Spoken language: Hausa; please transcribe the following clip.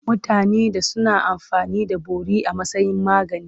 Mutanen da suna amfani da bori a matsayin magani.